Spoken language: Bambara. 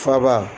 Faba